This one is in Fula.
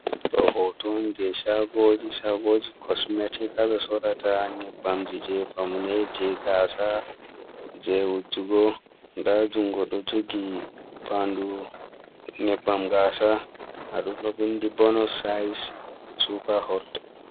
Ɗo hotoji'on je Shagoji, Shagoji kosmeti.ha ɓe Sorrata Nyebbamji je famune je Gasa je wujugo. Nda jungo dou jogi Fandu Nyebbam Gasa haɗum ɗo Windi bonos hayis Supa holda.